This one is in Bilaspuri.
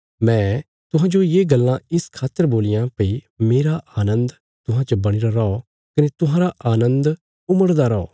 मैं तुहांजो ये गल्लां इस खातर बोलियां भई मेरा आनन्द तुहां च बणीरा रौ कने तुहांरा आनन्द उमड़दा रौ